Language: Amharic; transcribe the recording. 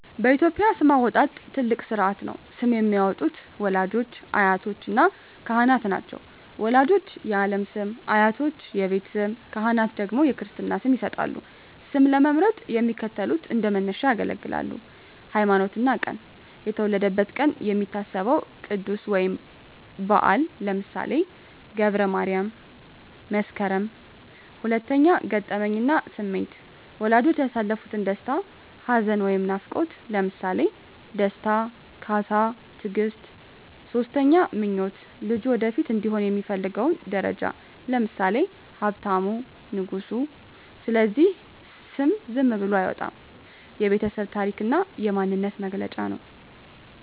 በኢትዮጵያ ስም አወጣጥ ትልቅ ሥርዓት ነው። ስም የሚያወጡት ወላጆች፣ አያቶችና ካህናት ናቸው። ወላጆች የዓለም ስም፣ አያቶች የቤት ስም፣ ካህናት ደግሞ የክርስትና ስም ይሰጣሉ። ስም ለመምረጥ የሚከተሉት እንደ መነሻ ያገለግላሉ 1)ሃይማኖትና ቀን የተወለደበት ቀን የሚታሰበው ቅዱስ ወይም በዓል (ለምሳሌ ገብረ ማርያም፣ መስከረም)። 2)ገጠመኝና ስሜት ወላጆች ያሳለፉት ደስታ፣ ሐዘን ወይም ናፍቆት (ለምሳሌ ደስታ፣ ካሳ፣ ትግስት)። 3)ምኞት ልጁ ወደፊት እንዲሆን የሚፈለገው ደረጃ (ለምሳሌ ሀብታሙ፣ ንጉሱ)። ስለዚህ ስም ዝም ብሎ አይወጣም፤ የቤተሰብ ታሪክና የማንነት መገለጫ ነው።